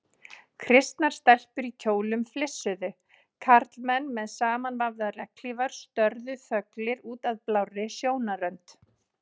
Kristnar stelpur í kjólum flissuðu, karlmenn með samanvafðar regnhlífar störðu þöglir út að blárri sjónarrönd.